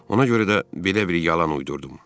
Ona görə də belə bir yalan uydurdum.